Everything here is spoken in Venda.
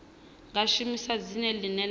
nga shumisa dzina ḽine ḽa